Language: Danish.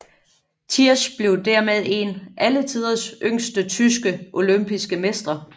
Tiersch blev dermed en af alletiders yngste tyske olympiske mestre